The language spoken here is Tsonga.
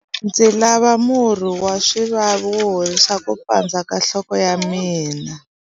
Ndzi lava murhi wa swivavi wo horisa ku pandza ka nhloko ya mina.